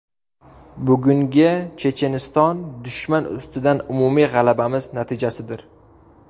Bugungi Checheniston dushman ustidan umumiy g‘alabamiz natijasidir.